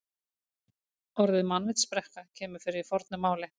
Orðið mannvitsbrekka kemur fyrir í fornu máli.